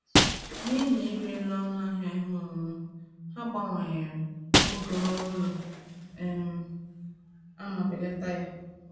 N’ihi ịrị elu ọnụ ahịa ihe owuwu, ha gbanwere oge oru ụlọ um a ma belata ya